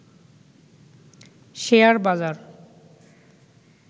share বাজার